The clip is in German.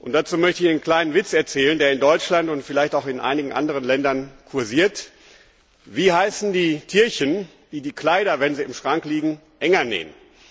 Dazu möchte ich einen kleinen Witz erzählen, der in Deutschland und vielleicht auch in einigen anderen Ländern kursiert Wie heißen die Tierchen, die die Kleider, wenn sie im Schrank liegen, enger nähen?